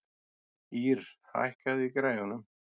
Ýrr, hækkaðu í græjunum.